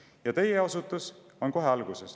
Ja teie osutus on kohe alguses.